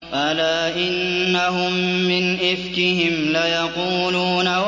أَلَا إِنَّهُم مِّنْ إِفْكِهِمْ لَيَقُولُونَ